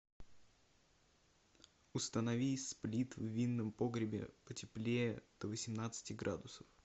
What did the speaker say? установи сплит в винном погребе потеплее до восемнадцати градусов